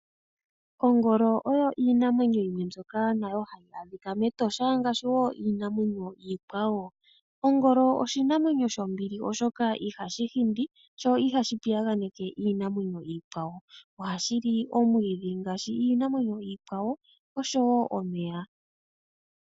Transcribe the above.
Ogoolo oyo iinamwenyo yimwe mbyoka nayo hayi adhika metosha ngashi wo Iinamwenyo ikwawo , Ogoolo oshinamwenyo shombili oshoka ihashihindi sho ihashi piyanganeke Iinamwenyo ikwawo, ohadhili omwidhi ngashi Iinamwenyo ikwawo oshowo omeya.